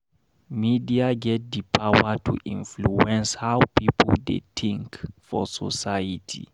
Media get di power to influence how pipo dey tink for society.